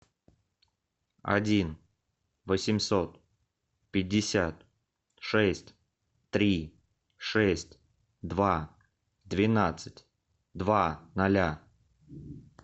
один восемьсот пятьдесят шесть три шесть два двенадцать два ноля